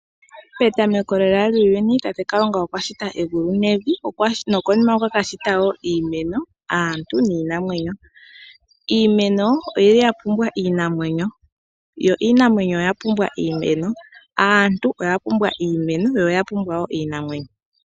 Petameko lela lyuuyuni tate Kalunga okwashita egulu nevi nokonima okwakashita woo iimeno, naantu niimeno . Iimeno oyili yapumbwa iinamwenyo yo iinamwenyo oyapumbwa iimeno. Aantu oya pumbwa iimeno yo oya pumbwa woo iinamwenyo.